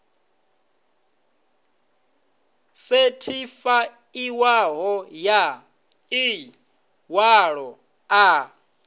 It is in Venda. sethifaiwaho ya ḽi ṅwalo ḽa